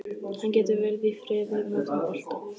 Hann getur verið í friði með sinn bolta.